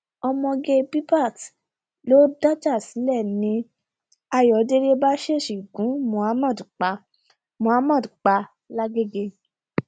ọmọge bbaat ló dájà sílẹ ni ayọdẹlẹ bá ṣèèṣì gun muhammed pa muhammed pa lágaeègè